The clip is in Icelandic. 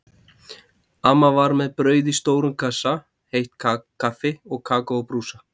Amma var með brauð í stórum kassa, heitt kaffi og kakó á brúsa.